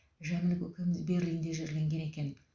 жәміл көкеміз берлинде жерленген екен